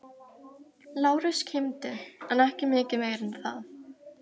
Lárus kímdi en ekki mikið meira en það.